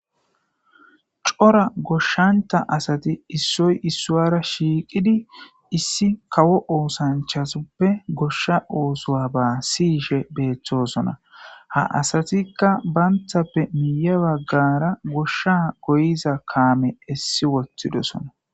cora goshshanta asati issoy issowara shiiqidi issi kawo oosanchasoppe goshsha oosowa ba siyishe beeththosona ha asatikka banthappe miiya baggara goshsha goyiza kaame essi wothidosona